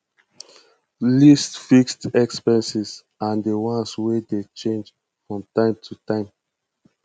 list fixed expenses and di ones wey dey change from time to time